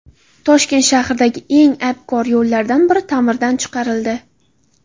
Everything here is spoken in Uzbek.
Toshkent shahridagi eng abgor yo‘llardan biri ta’mirdan chiqarildi .